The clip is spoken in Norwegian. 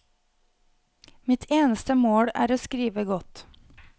Mitt eneste mål er å skrive godt.